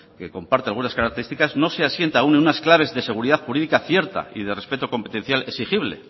que comparte algunas características no se asienta aún en unas claves de seguridad jurídica cierta y de respeto competencial exigible